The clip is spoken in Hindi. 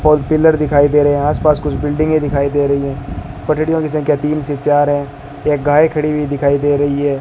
फोर व्हीलर दिखाई दे रहे हैं आस पास कुछ बिल्डिंगें दिखाई दे रही हैं पटरियों की संख्या तीन से चार हैं एक गाय खड़ी हुई दिखाई दे रही है।